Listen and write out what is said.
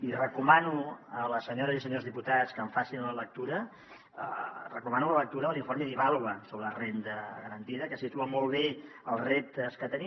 i recomano a les senyores i senyors diputats que en facin la lectura recomano la lectura de l’informe d’ivàlua sobre la renda garantida que situa molt bé els reptes que tenim